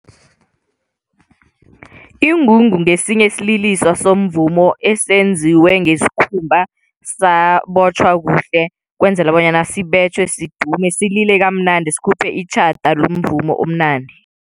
Ingungu ngesinye isililiso somvumo esenziwe ngesikhumba sabotjhwa kuhle kwenzela bonyana sibetjhwe sidume, silile kamnandi sikhuphe itjhada lomvumo omnandi.